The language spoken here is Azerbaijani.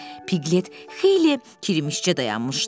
Piqlet xeyli kirimişcə dayanmışdı.